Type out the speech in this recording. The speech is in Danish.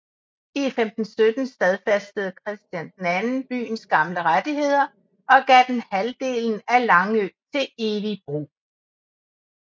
I 1517 stadfæstede Christian II byens gamle rettigheder og gav den halvdelen af Langø til evig brug